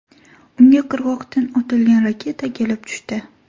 Unga qirg‘oqdan otilgan raketa kelib tushdi.